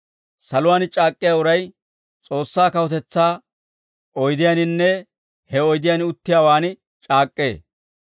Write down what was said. Saluwaan c'aak'k'iyaa uray, S'oossaa kawutetsaa oydiyaaninne he oydiyaan uttiyaawaan c'aak'k'ee.